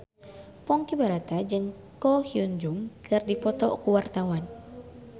Ponky Brata jeung Ko Hyun Jung keur dipoto ku wartawan